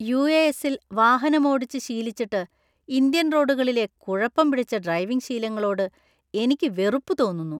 യു.എഎസ് .ൽ വാഹനമോടിച്ച് ശീലിച്ചിട്ട് ഇന്ത്യൻ റോഡുകളിലെ കുഴപ്പം പിടിച്ച ഡ്രൈവിംഗ് ശീലങ്ങളോട് എനിക്ക് വെറുപ്പ് തോന്നുന്നു.